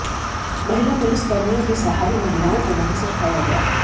महिला पुलिस कर्मियों के सहारे महिलाओं को वहां से उठाया गया